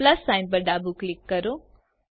plus sign પર ડાબું click કરો